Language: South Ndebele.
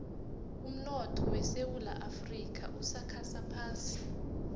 limaotho wesowula afxica usakhasa phasi